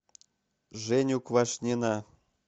женю квашнина